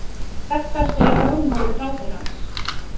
Þetta segir lögmaður ráðherrans